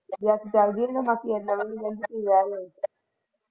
ਰਾਤੀਂ ਚੱਲੇ ਜਾਈਏ ਮਾਸੀ ਦੇ ਘਰ ਦਮਨ ਤੇ ਤੋਂ ਰਹਿ ਲਿਓ।